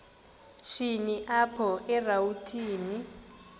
shini apho erawutini